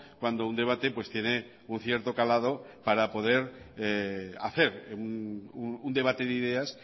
cuando un debate tiene un cierto calado para poder hacer un debate de ideas